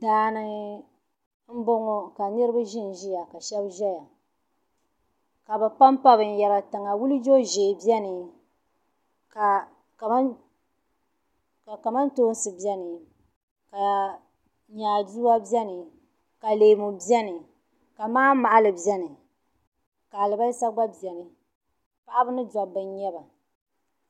Daani n boŋo ka niraba ʒinʒiya ka shab ʒɛya ka bi panpa binyɛra tiŋa wuljo ʒiɛ biɛni ka kamantoosi biɛni ka nyaaduwa biɛni ka leemu biɛni ka manmahali biɛni ka alibarisa gba biɛni paɣaba ni dabba n nyɛba